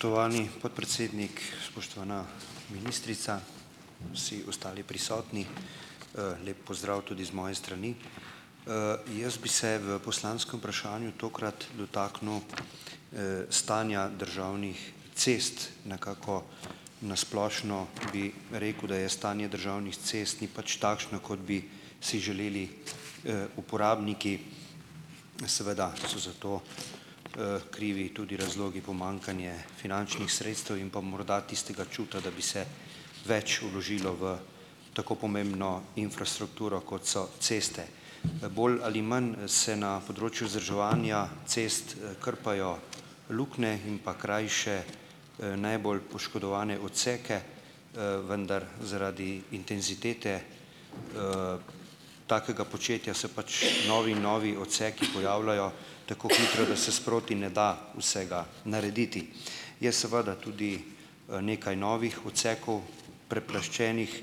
Spoštovani podpredsednik, spoštovana ministrica, vsi ostali prisotni! Lep pozdrav tudi z moje strani. Jaz bi se v poslanskem vprašanju tokrat dotaknil stanja državnih cest. Nekako na splošno bi rekel, da je stanje državnih cest ni pač takšno, kot bi si želeli uporabniki, seveda so za to krivi tudi razlogi pomanjkanje finančnih sredstev in pa morda tistega čuta, da bi se več vložilo v tako pomembno infrastrukturo, kot so ceste. Bolj ali manj se na področju vzdrževanja cest krpajo luknje in pa krajše najbolj poškodovane odseke, vendar zaradi intenzitete takega početja se pač novi in novi odseki pojavljajo tako hitro, da se sproti ne da vsega narediti. Je seveda tudi nekaj novih odsekov preplaščenih,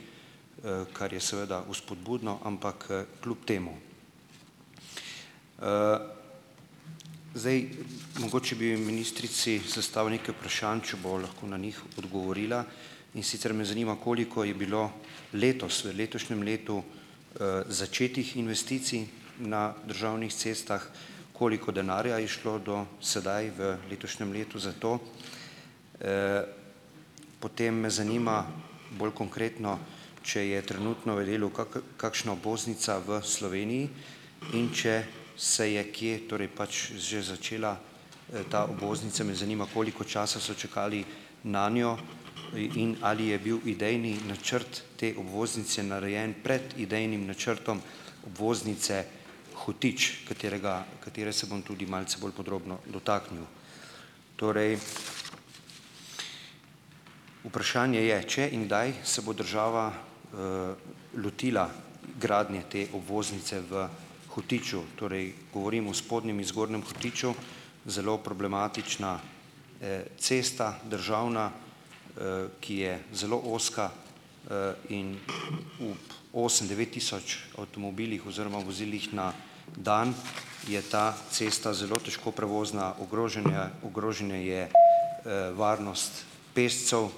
kar je seveda vzpodbudno, ampak kljub temu. Zdaj, mogoče bi ministrici zastavil nekaj vprašanj, če bo lahko na njih odgovorila, in sicer me zanima, koliko je bilo letos v letošnjem letu začetih investicij na državnih cestah, koliko denarja je šlo do sedaj v letošnjem letu za to, potem me zanima bolj konkretno, če je trenutno v delu kakšna obvoznica v Sloveniji in če se je kje, torej, pač že začela ta obvoznica, me zanima, koliko časa so čakali nanjo in ali je bil idejni načrt te obvoznice narejen pred idejnim načrtom obvoznice Hotič, katerega katere se bom tudi malce bolj podrobno dotaknil. Torej vprašanje je, če in kdaj se bo država lotila gradnje te obvoznice v Hotiču, torej govorim o Spodnjem in Zgornjem Hotiču. Zelo problematična državna cesta, ki je zelo ozka in ob osem devet tisoč avtomobilih oziroma vozilih na dan je ta cesta zelo težko prevozna, ogrožen je ogrožene je varnost pešcev,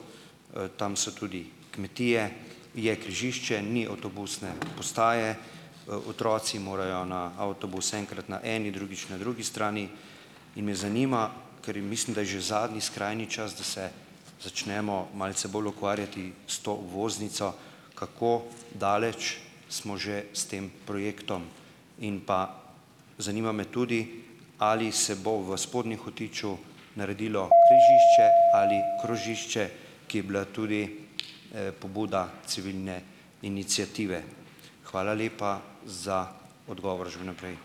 tam so tudi kmetije, je križišče, ni avtobusne postaje, otroci morajo na avtobus enkrat na eni, drugič na drugi strani. In me zanima, ker mislim, da je že zadnji skrajni čas, da se začnemo malce bolj ukvarjati s to obvoznico, kako daleč smo že s tem projektom. In pa zanima me tudi, ali se bo v Spodnji Hotiču naredilo križišče ali krožišče, ki je bila tudi pobuda civilne iniciative. Hvala lepa za odgovor že vnaprej.